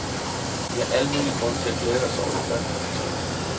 Vi har al mulig grund til at glæde os over de første resultater.